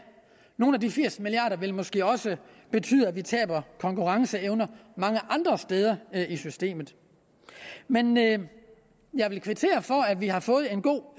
nogle af de firs milliarder vil måske også betyde at vi taber konkurrenceevne mange andre steder i systemet men jeg vil jeg vil kvittere for at vi har fået en god